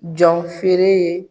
Jɔnfeere ye.